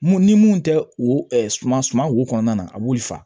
Mun ni mun tɛ o suma suma wo kɔnɔna na a b'olu faga